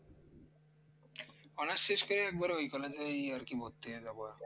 honours শেষ করে একবারে ওই college এ ওই আর কি ভর্তি হয়ে যাব আর কি